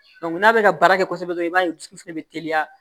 n'a bɛ ka baara kɛ kosɛbɛ dɔrɔn i b'a ye dusu fɛnɛ bɛ teliya